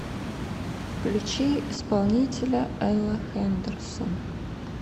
включи исполнителя элла хэндерсон